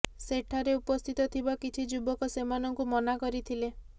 ସେଠାରେ ଉପସ୍ଥିତ ଥିବା କିଛି ଯୁବକ ସେମାନଙ୍କୁ ମନା କରିଥିଲେ